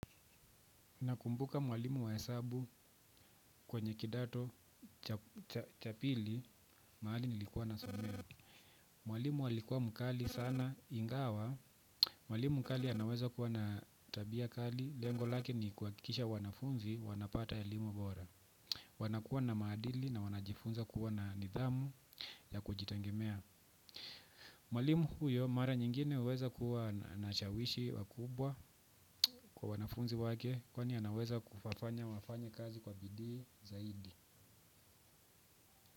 Nakumbuka mwalimu wa hesabu kwenye kidato cha pili mahali nilikuwa nasomea. Mwalimu alikuwa mkali sana ingawa mwalimu mkali anaweza kuwa na tabia kali lengo lake ni kuhakikisha wanafunzi wanapata elimu bora. Wanakuwa na maadili na wanajifunza kuwa na nidhamu ya kujitegemea. Mwalimu huyo mara nyingine huweza kuwa anashawishi wakubwa kwa wanafunzi wake kwani anaweza kuwafanya wafanye kazi kwa bidii zaidi.